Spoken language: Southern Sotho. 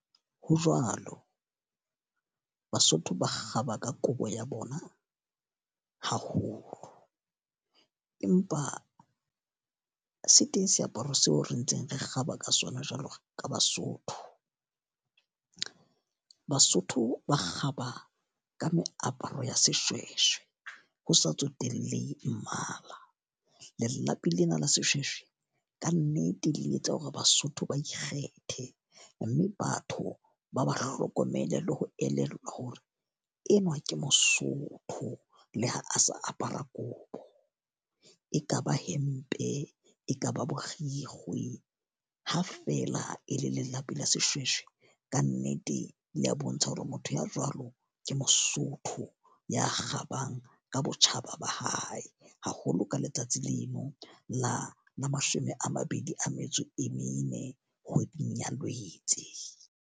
Ho jwalo, Basotho ba kgaba ka kobo ya bona haholo. Empa se teng seaparo seo re ntseng re kgaba ka sona jwalo ka Basotho. Basotho ba kgaba ka meaparo ya seshweshwe, ho sa tsotellehe mmala. Lelapi lena la seshweshwe, ka nnete le etsa hore Basotho ba kgethe. Mme batho ba ba hlokomele le ho elellwa hore enwa ke Mosotho le ha a sa apara kobo. E ka ba hempe, e ka ba borikgwe, ha fela e le lelapa la seshweshwe, ka nnete le ya bontsha hore motho ya jwalo ke Mosotho ya kgabang ka botjhaba ba hae. Haholo ja letsatsi leno la la mashome a mabedi a metso e mene kgweding ya Lwetse.